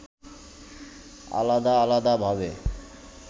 আলাদা আলাদা ভাবে